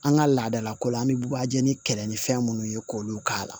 An ka laadalakow la an bɛ bagaji ni kɛlɛ ni fɛn minnu ye k'olu k'a la